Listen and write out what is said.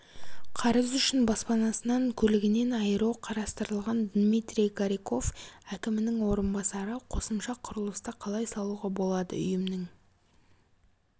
қарыз үшін баспанасынан көлігінен айыру қарастырылған дмитрий гариков әкімінің орынбасары қосымша құрылысты қалай салуға болады үйімнің